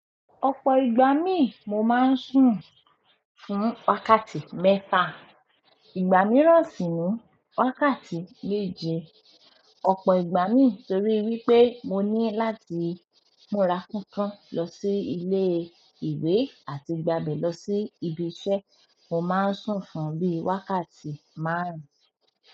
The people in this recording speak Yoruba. Ọ̀pọ̀ ìgbà mí mo máa ń sun fún wákàtí mẹ́fa, ìgbà mìíràn sì ni wákàtí méje. Ọ̀pọ̀ ìgbà mi torí wípé mo ní láti múra kankan lọ sí ilé ìwé àti gbà bé lọ sí ibi iṣẹ́, mo máa ń sùn fún bí i wákàtí márùn-ún.